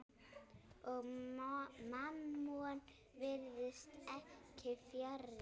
Og Mammon virðist ekki fjarri.